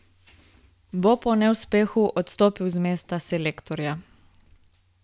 Bo po neuspehu odstopil z mesta selektorja?